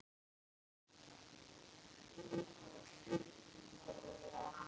Alla daga ársins!